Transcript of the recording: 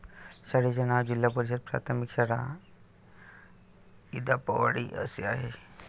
शाळेचे नाव जिल्हा परिषद प्राथमिक शाळा इंदापवाडी असे आहे.